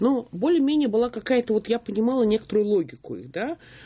ну более-менее была какая-то вот я принимала некоторую логику их да